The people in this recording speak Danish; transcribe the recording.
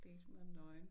Date mig nøgen